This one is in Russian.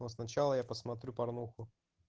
но сначала я посмотрю порнуху